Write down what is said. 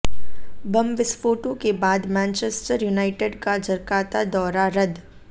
बम विस्फोटों के बाद मैनचेस्टर युनाइटेड का जकार्ता दौरा रदद्